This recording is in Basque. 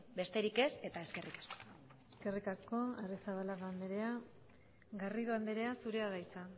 besterik ez eta eskerrik asko eskerrik asko arrizabalaga andrea garrido andrea zurea da hitza